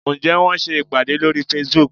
Ǹjẹ́ wọ́n ń ṣe ìpàdé lórí Facebook?